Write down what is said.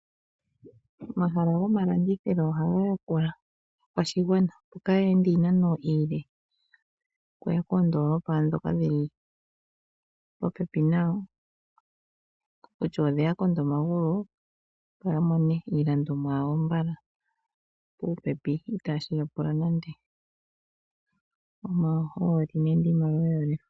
Omahala goomalandithilo ohaga yakula aakwashigwanan opo kaya ende iinano iile okuya koondolopa dhoka dhi li popepi nayo, kutya odheya konda omagulu opo ya mone iilandomwa yawo mbala, popepi itashi yapula nande omahooli nenge iimaliwa oyindji.